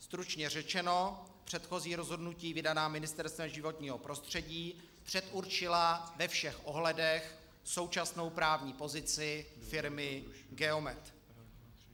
Stručně řečeno, předchozí rozhodnutí vydaná Ministerstvem životního prostředí předurčila ve všech ohledech současnou právní pozici firmy Geomet.